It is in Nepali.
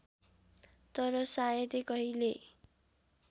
तर सायदै कहिल्यै